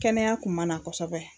Kɛnɛya kun man na kɔsɔbɛ.